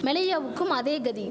மெலேயாவுக்கும் அதே கதி